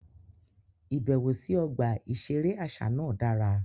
Ibẹwo sí ọgbà iṣere aṣa náà dára